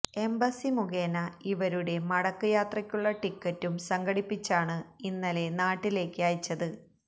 embassy മുഖേന ഇവരുടെ മടക്ക് യാത്രയ്ക്കുള്ള ടിക്കറ്റും സംഘടിപ്പിച്ചാണ് ഇന്നലെ നാട്ടിലേക്ക് അയച്ചത്